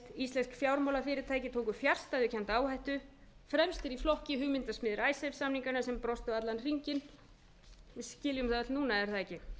íslensk fjármálafyrirtæki tóku fjarstæðukennda áhættu fremstir í flokki eru hugmyndasmiðir icesave samninganna sem brostu allan hringinn við skiljum það öll núna er það ekki